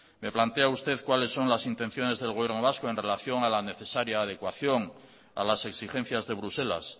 me plantea usted cuáles son las intenciones del gobierno vasco en relación a la necesaria adecuación a las exigencias de bruselas